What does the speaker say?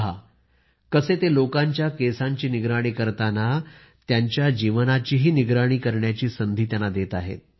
पहा कसे ते लोकांच्या डोक्याची सजावट करताना त्यांना आपल्या जीवनाची सजावट करण्याचीही संधी देत आहेत